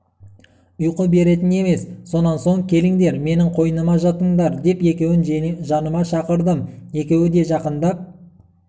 ұйқы беретін емес сонан соң келіңдер менің қойныма жатыңдар деп екеуін жаныма шақырдым екеуі де жақындап